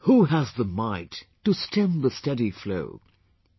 Who has the might to stem the steady flow...